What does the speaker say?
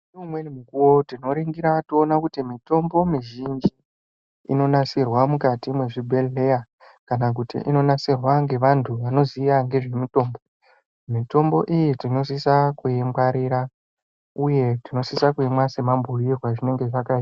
Neumweni mukuvo tinoringira toona kuti mitombo mizhinji inonasirwa mukati mwezvibhedhleya. Kana kuti inonasirwa ngevantu vanoziya ngezvemitombo. Mitombo iyi tinosisa kuingwarira uye tinosisa kuimwa semabhuirwe azvinenge zvakaitwa.